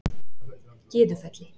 Gyðufelli